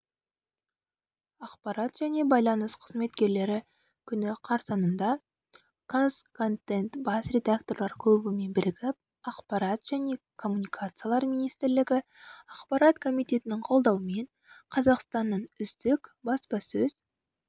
ақпарат және байланыс қызметкерлері күні қарсаңында қазконтент бас редакторлар клубымен бірігіп ақпарат және коммуникациялар министрлігі ақпарат комитетінің қолдауымен қазақстанның үздік баспасөз